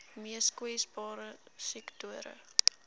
mees kwesbare sektore